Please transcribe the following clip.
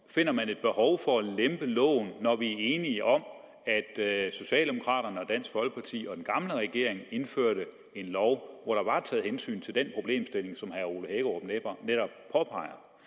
finder et behov for at lempe loven når vi er enige om at socialdemokraterne og dansk folkeparti og den gamle regering indførte en lov hvor der var taget hensyn til den problemstilling som herre